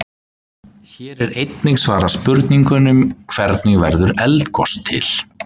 Hér er einnig svarað spurningunum: Hvernig verður eldgos til?